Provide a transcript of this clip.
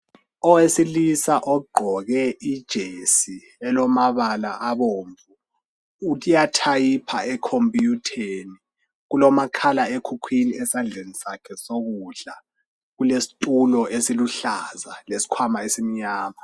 Owesilisa ogqoke ijesi elamabala abomvu uyathayipha ekhompiyutheni. Kulomakhala ekhukhwini esandleni sakhe sokudla. Kulesitulo esiluhlaza lesikhwama esimnyama.